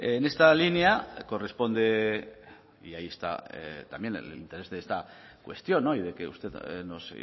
en esta línea corresponde y ahí está también el interés de esta cuestión y de que usted nos